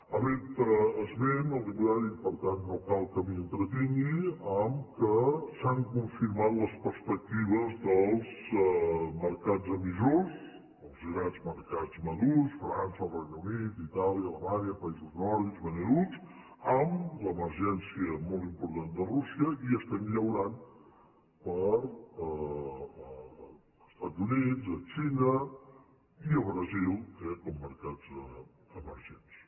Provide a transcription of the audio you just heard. ha fet esment el diputat i per tant no cal que m’hi entretingui que s’han confirmat les perspectives dels mercats emissors els grans mercats madurs frança el regne unit itàlia alemanya països nòrdics benelux amb l’emergència molt important de rússia i estem llaurant pels estats units la xina i el brasil eh com a mercats emergents